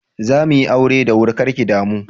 Zamuyi aure da wuri kar ki damu.